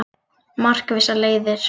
Markvissar leiðir